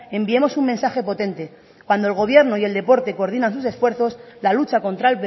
enviemos un mensaje potente cuando el gobierno y el deporte coordinan sus esfuerzos la lucha contra